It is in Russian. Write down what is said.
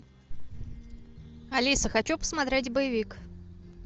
алиса хочу посмотреть боевик